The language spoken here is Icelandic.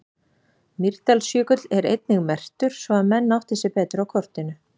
Mýrdalsjökull er einnig merktur svo að menn átti sig betur á kortinu.